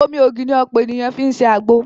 Omi ògì ni ọ̀pọ̀ ènìyàn fi ń ṣe àgbo